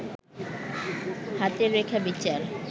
হাতের রেখা বিচার